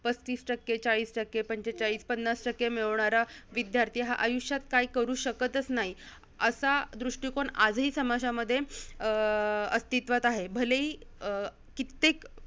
पस्तीस टक्के, चाळीस टक्के, पंचेचाळीस-पन्नास टक्के, मिळवणारा विद्यार्थी हा आयुष्यात काय करू शकतंच नाही, असा दृष्टीकोन आज ही समाजामध्ये अं अस्तित्वात आहे. भलेही अं कित्तेक